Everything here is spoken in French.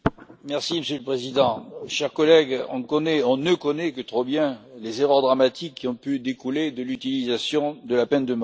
Monsieur le Président, chers collègues, on ne connaît que trop bien les erreurs dramatiques qui ont pu découler de l'utilisation de la peine de mort.